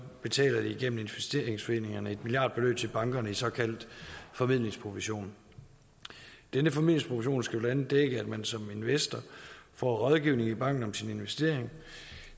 betaler de gennem investeringsforeningerne et milliardbeløb til bankerne i såkaldt formidlingsprovision denne formidlingsprovision skal blandt andet dække at man som investor får rådgivning i banken om sin investering